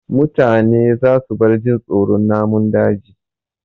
Mutane za su bar jin tsoron namun daji